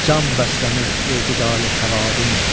Can bəslənir etidali həvadin.